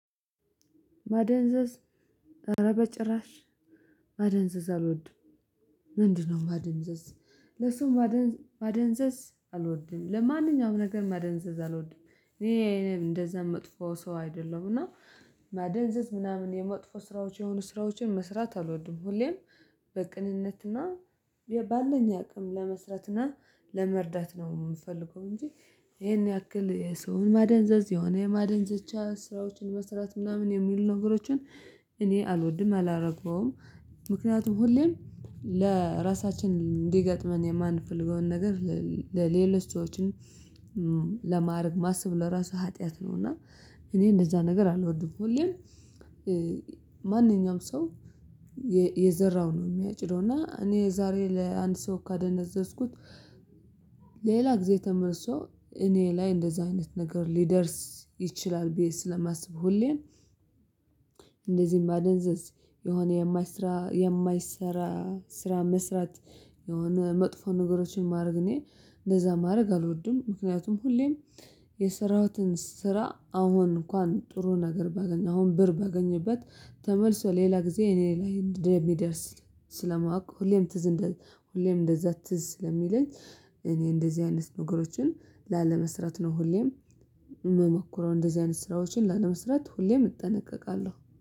ማደንዘዝ አረ በጭራሽ ማደንዘዝ አልወድም። ምንድነው ማደንዘዝ ለሱም ማደንዘዝ አልወድም። ለማንኛውም ነገር ማደንዘዝ አልወድም እኔ እኔ እንደዛ መጥፎ ሰው አይደለም። እና ማደንዘዝ ምናምን የመጥፎ ስራዎች የሆኑ ስራዎችን መስራት አልወድም። ሁሌም በቅንነትና ባለኝ አቅም ለመስራትና ለመርዳት ነው የምፈልገው። እንጂ ይሄን ያክል ሰውን ማደንዘዝ የሆነ የማደንዘዝ ብቻ ስራዎችን መስራት ምናምን የሚሉ ነገሮችን እኔ አልወድም። አላረገውም። ምክንያቱም ሁሌም ለራሳችን እንዲገጥመን የማንፈልገውን ነገር ለሌሎች ሰዎችን ለማድረግ ማሰብ ለራሱ ሀጥያት ነው። እና እኔ እንደዛ ነገር አልወድም። ሁሌም ማንኛውም ሰው የዘራውን ነው የሚያጭደው። እና እኔ ዛሬ ለአንድ ሰው ካደነዘዝኩት ሌላ ጊዜ ተመልሶ እኔ ላይ እንደዚህ አይነት ነገር ሊደርስ ይችላል። ብየ ስለማስብ ሁሌም እንደዚህ ማደንዘዝ የሆነ የማይሰራ የማይሰራ ስራ መስራት። የሆነ መጥፎ ነገሮችን ማድረግ እኔ እንደዛ ማድረግ አልወድም። ምክንያቱም ሁሌም የሰራውትን ስራ አሁን እንኳን ጥሩ ነገር ባገኝ አሁን ብር ባገኝበት ተመልሶ ሌላ ጊዜ እኔ ላይ እንደ ሚደርስ ስለማውቅ። ሁሌም ትዝ ሁሌም እንደዛ አትዝ ስለሚለኝ እኔ እንደዚህ አይነት ነገሮችን ላለመሰረት ነው። ሁሌም የምሞክረው እንደዚህ አይነት ስራዎችን ላለመሰረት ሁሌም እጠነቀቃለሁ